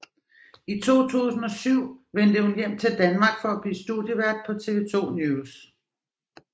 I 2007 vendte hun hjem til Danmark for at blive studievært på TV 2 NEWS